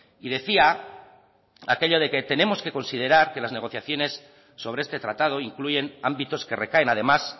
y decía aquello de que tenemos que considerar que las negociaciones sobre este tratado incluyen ámbitos que recaen además